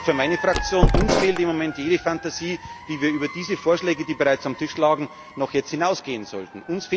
lag. Ich sage für meine Fraktion Uns fehlt im Moment jede Fantasie, wie wir über diese Vorschläge, die bereits auf dem Tisch lagen, jetzt noch hinausgehen sollten.